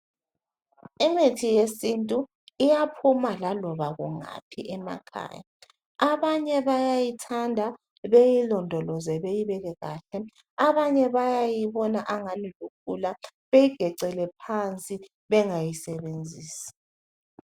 Imithi yesintu iyaphuma laloba kungaphi emakhaya abanye bayayithanda beyilondoloze beyibeke kahle abanye bayayibona angani lukhula beyigecele phansi bengayisebenzisi.